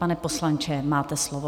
Pane poslanče, máte slovo.